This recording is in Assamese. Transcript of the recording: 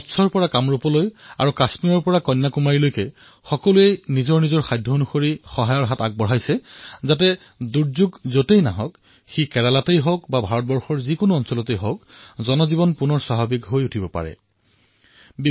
কচ্ছৰ পৰা কামৰূপ আৰু কাশ্মীৰৰ পৰা কন্যাকুমাৰীলৈ সকলোৱে নিজৰ পৰ্যায়ত কিবা নহয় কিবা এটা কৰিছে যাতে যতেই বিপত্তি দেখা গৈছে সেয়া কেৰালাই হওক অথবা হিন্দুস্তানৰ অন্য জিলাই হওক জনসাধাৰণৰ জীৱন সাধাৰণ অৱস্থালৈ অহাৰ বাবে প্ৰয়াস কৰা হৈছে